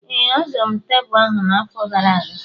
Ee, azụrụ m tebụl ahụ na-afo gara aga